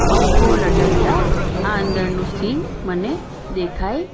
પંખો લટકતા આ અંદરનું સીન મને દેખાય--